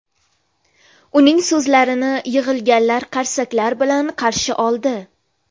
Uning so‘zlarini yig‘ilganlar qarsaklar bilan qarshi oldi.